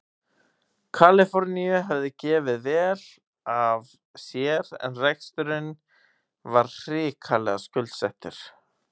Kaliforníu hafði gefið vel af sér en reksturinn var hrikalega skuldsettur.